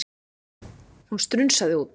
Hún strunsaði út.